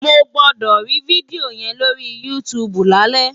Mo gbọ́dọ̀ rí fídíò yẹn lórí YouTube lálẹ́!